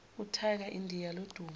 utiger indiya lodumo